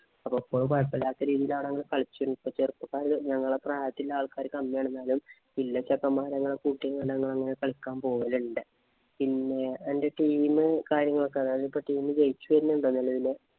ഇപ്പൊ കൊഴപ്പമില്ലാത്ത രീതിയിലാണ്‌ ഞങ്ങള് കളിച്ചു വരുന്നത്. ഞങ്ങടെ പ്രായത്തിന്‍റെ ആള്‍ക്കാര് കമ്മിയാണ്. എന്നാലും ചെക്കന്മാരെ കൂട്ടിട്ട് ഞങ്ങള് കളിക്കാന്‍ പോകലുണ്ട്. പിന്നെ അന്‍റെ team ഇന്‍റെ കാര്യങ്ങളൊക്കെ team ഇന് ജയിച്ചു വരുന്നുണ്ടോ? നിലവില്.